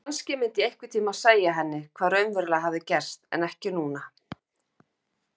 Kannski myndi ég einhvern tímann segja henni hvað raunverulega hafði gerst en ekki núna.